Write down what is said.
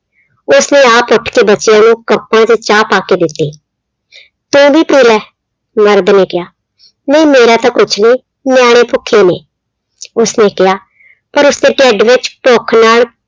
ਉਹ ਫਿਰ ਆਪ ਉੱਠ ਕੇ ਬੱਚਿਆਂ ਨੂੰ cups ਚ ਚਾਹ ਪਾ ਕੇ ਦਿੱਤੀ। ਤੂੰ ਵੀ ਪੀ ਲੈ, ਮਰਦ ਨੇ ਕਿਹਾ, ਨਹੀਂ ਮੇਰਾ ਤਾਂ ਕੁੱਛ ਨੀ ਨਿਆਂਣੇ ਭੁੱਖੇ ਨੇ ਉਸਨੇ ਕਿਹਾ, ਪਰ ਉਸਦੇ ਢਿੱਡ ਵਿੱਚ ਭੁੱਖ ਨਾਲ